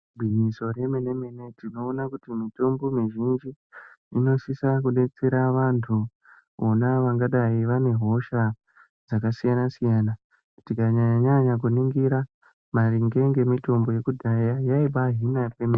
Igwinyiso remene-mene, tinoona kuti mitombo mizhinji, inosisa kudetsera vantu ,vona vangadai vane hosha, dzakasiyana-siyana. Tikanyanya-nyanya kuringira, maringe ngemitombo yekudhaya, yaibaahina zvemene.